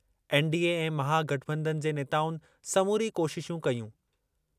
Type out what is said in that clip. NDA ऐं महागठबंधन जे नेताउनि समूरी कोशिशूं कयूं।